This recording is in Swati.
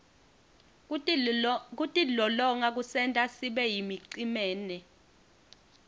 kutilolonga kusenta sibeyimicemene